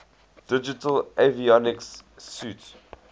digital avionics suite